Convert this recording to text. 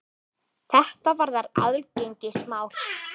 Þetta varðar aðgengismál.